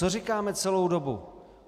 Co říkáme celou dobu?